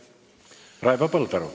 Raivo Põldaru.